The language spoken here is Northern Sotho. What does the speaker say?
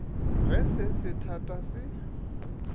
ge se se thata se